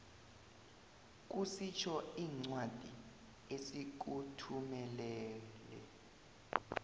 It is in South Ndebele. kusitjho incwadi esikuthumelele